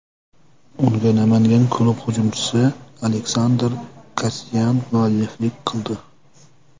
Unga Namangan klubi hujumchisi Aleksandr Kasyan mualliflik qildi.